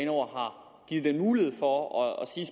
over har givet den mulighed for at sige